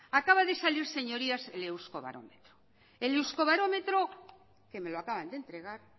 acaba de salir señorías el euskobarómetro que me lo acaban de entregar